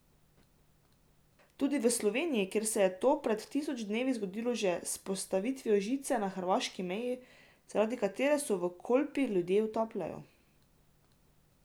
Tudi v Sloveniji, kjer se je to pred tisoč dnevi zgodilo že s postavitvijo žice na hrvaški meji, zaradi katere se v Kolpi ljudje utapljajo.